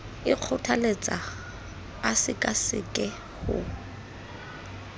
e kgothaletsang a sekaseke ho